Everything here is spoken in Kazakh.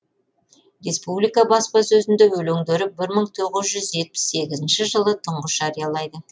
республика баспасөзінде өлеңдері бір мың тоғыз жүз жетпіс сегізінші жылы тұңғыш жариялайды